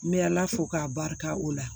N bɛ ala fo k'a barika o la